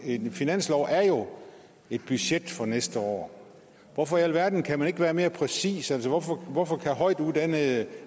en finanslov er jo et budget for næste år hvorfor i alverden kan man ikke være mere præcis altså hvorfor hvorfor kan højtuddannede